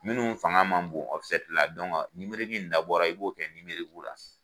Minnu fanga ma bon in dabɔla i b'o kɛ la.